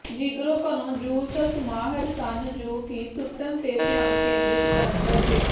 ਜੀਗਰੋ Kano jujutsu ਮਾਹਰ ਸਨ ਜੋ ਕਿ ਸੁੱਟਣ ਤੇ ਧਿਆਨ ਕੇਂਦ੍ਰਿਤ ਕਰਨ ਲੱਗੇ